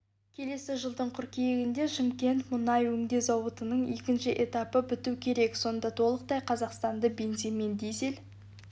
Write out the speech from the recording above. келесі жылдың қыркүйегінде шымкент мұнай өңдеу зауытының екінші этапы біту керек сонда толықтай қазақстанды бензинмен дизель